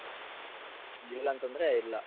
ಇಲ್ಲ ಅಂತಂದ್ರೆ ಇಲ್ಲ.